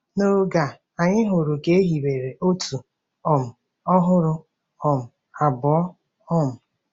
N’oge a, anyị hụrụ ka e hiwere otu um ọhụrụ um abụọ um.